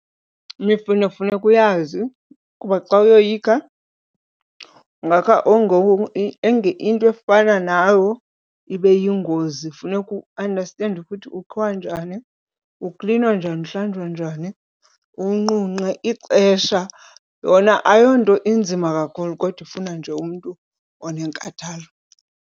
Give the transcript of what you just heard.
Imifuno funeka uyazi ukuba xa uyoyikha ungakha into efana nawo ibe yingozi. Funeka uandastende ukuthi ukhiwa njani, uklinwa njani, uhlanjwa njani, uwunqunqe ixesha. Yona ayonto inzima kakhulu kodwa ifuna nje umntu onenkathalo.